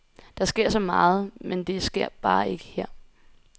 Der sker så meget, men det sker bare ikke her.